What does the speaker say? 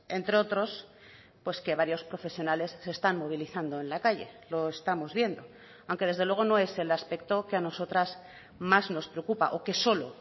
entre otros pues que varios profesionales se están movilizando en la calle lo estamos viendo aunque desde luego no es el aspecto que ha nosotras más nos preocupa o que solo